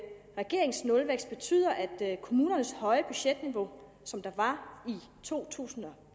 regeringens nulvækst betyder at kommunernes høje budgetniveau som der var i to tusind og